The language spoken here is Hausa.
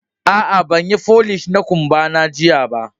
A'a, banyi folish na kumba na jiya ba.